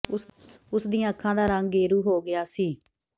ਉਸ ਦੀਆਂ ਅੱਖਾਂ ਦਾ ਰੰਗ ਗੇਰੂ ਹੋ ਗਿਆ ਸੀ